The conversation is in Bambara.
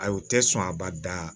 Ayi u tɛ sɔn a ba da